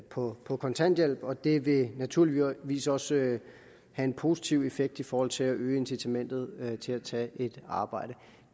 på på kontanthjælp og det vil naturligvis også have en positiv effekt i forhold til at øge incitamentet til at tage et arbejde